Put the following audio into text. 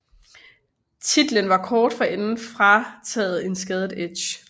Titlen var kort forinden blevet frataget en skadet Edge